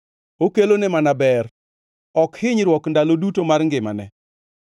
Okelone mana ber, ok hinyruok ndalo duto mar ngimane.